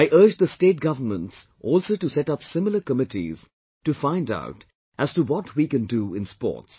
I urge the State Governments also to set up similar committees to find out as to what we can do in sports